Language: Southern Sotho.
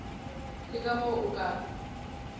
le ka moo o ka